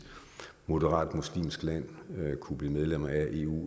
moderat muslimsk land kunne blive medlem af eu